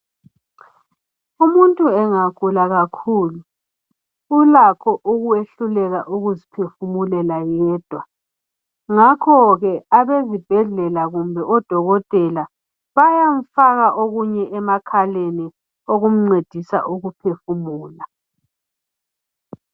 Umuntu engagula kakhulu ulakho ukwehluleka ukuziphefumulela yedwa ngakhoke abezibhedlela kumbe odokotela bayamfaka okunye emakhaleni okumncedisa ukuphefumula.